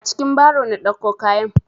A cikin baro na ɗauko kayan.